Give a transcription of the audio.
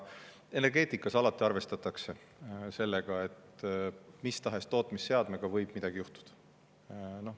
Energeetikas alati arvestatakse sellega, et mis tahes tootmisseadmega võib midagi juhtuda.